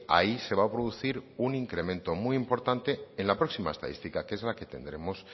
ahí se va a producir un incremento muy importante en la próxima estadística que es la que tendremos